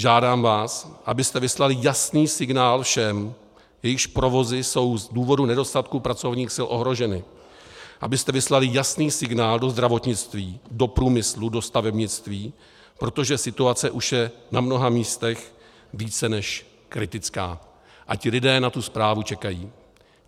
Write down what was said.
Žádám vás, abyste vyslali jasný signál všem, jejichž provozy jsou z důvodu nedostatku pracovních sil ohroženy, abyste vyslali jasný signál do zdravotnictví, do průmyslu, do stavebnictví, protože situace už je na mnoha místech více než kritická a ti lidé na tu zprávu čekají.